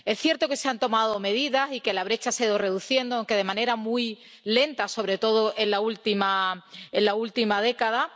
Es cierto que se han tomado medidas y que la brecha se ha ido reduciendo, aunque de manera muy lenta, sobre todo en la última década.